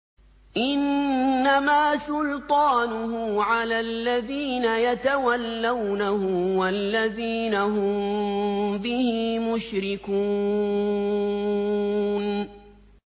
إِنَّمَا سُلْطَانُهُ عَلَى الَّذِينَ يَتَوَلَّوْنَهُ وَالَّذِينَ هُم بِهِ مُشْرِكُونَ